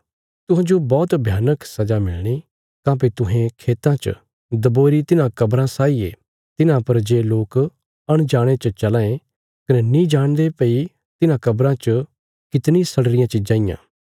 तुहांजो बौहत भयानक सजा मिलणी काँह्भई तुहें खेतां च दबोईरी तिन्हां कब्राँ साई ये तिन्हां पर जे लोक अनजाणे च चलां ये कने नीं जाणदे भई तिन्हां कब्राँ च कितणी सड़ी रियां चिज़ां इयां